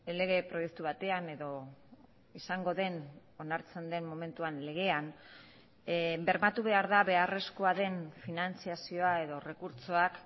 lege proiektu batean edo izango den onartzen den momentuan legean bermatu behar da beharrezkoa den finantzazioa edo errekurtsoak